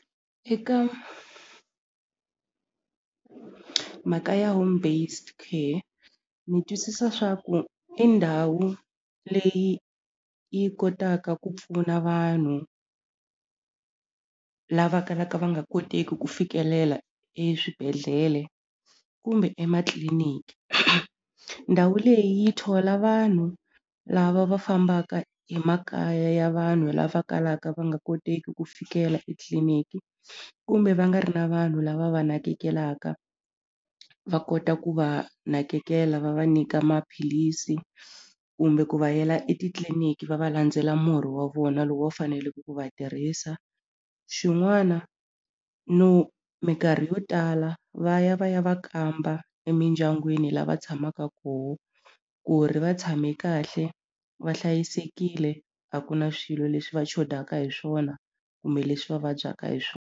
Eka mhaka ya home based care ni twisisa swa ku i ndhawu leyi yi kotaka ku pfuna vanhu lava kalaka va nga koteki ku fikelela eswibedhlele kumbe ematliliniki ndhawu leyi yi thola vanhu lava va fambaka emakaya ya vanhu lava kalaka va nga koteki ku fikela etliliniki kumbe va nga ri na vanhu lava va nakekela va kota ku va nakekela va va nyika maphilisi kumbe ku va yela etitliliniki va va landzela murhi wa vona lowu va faneleke ku va tirhisa xin'wana no minkarhi yo tala va ya va ya va kamba emindyangwini lava tshamaka koho ku ri va tshame kahle va hlayisekile a ku na swilo leswi va chodaka hi swona kumbe leswi va vabyaka hi .